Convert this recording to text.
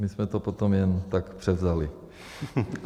My jsme to potom jen tak převzali.